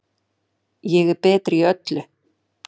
Ég er betri í öllu.